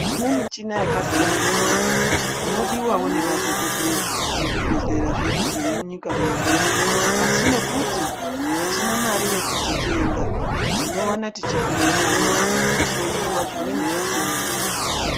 Tine muchina yakasiyana siyana inodiwawo nemadhokhodheya muzvibhehleya zvedu zvemunyika medu ASI nekuti hatina Mari yekudzitenga tinowana tichikundikana kuhloiwa zvimweni zvitenda.